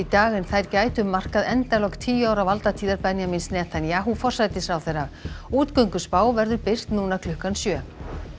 dag en þær gætu markað endalok tíu ára valdatíðar Benjamíns forsætisráðherra verður birt núna klukkan sjö